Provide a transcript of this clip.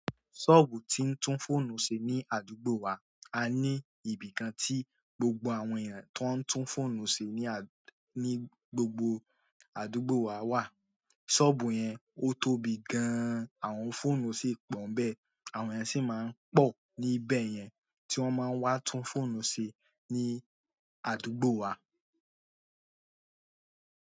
Ṣọ́ọ̀bù tí ń tún fóònù ṣe ní àdúgbò wa a ní ibìkan tí gbogbo àwọn èèyàn tó ń tún fóònù ṣe ní, ní gbogbo àdúgbò wa wà. Ṣọ́ọ̀bù yẹn, ó tóbi gan-an, àwọn fóònù sì pọ̀ń bẹ́ẹ̀, àwọn èèyàn sì máa ń pọ̀ níbẹ̀ yẹn tí wọ́n máa ń wá tún fóònù ṣe ní àdúgbò wa.